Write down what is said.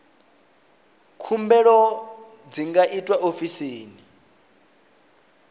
khumbelo dzi nga itwa ofisini